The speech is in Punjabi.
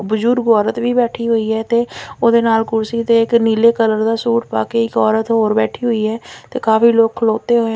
ਬਜ਼ੁਰਗ ਔਰਤ ਵੀ ਬੈਠੀ ਹੋਈ ਆ ਤੇ ਉਹਦੇ ਨਾਲ ਕੁਰਸੀ ਤੇ ਇੱਕ ਨੀਲੇ ਕਲਰ ਦਾ ਸੂਟ ਪਾ ਕੇ ਇੱਕ ਔਰਤ ਹੋਰ ਬੈਠੀ ਹੋਈ ਆ ਤੇ ਕਾਫੀ ਲੋਕ ਖਲੋਤੇ ਹੋਏ --